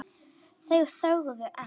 Þeir þögðu enn.